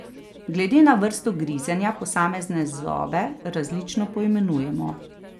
Glede na vrsto grizenja posamezne zobe različno poimenujemo.